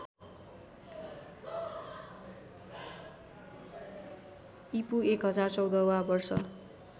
ईपू १०१४ वा वर्ष